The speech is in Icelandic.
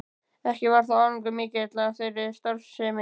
Ekki varð þó árangur mikill af þeirri starfsemi.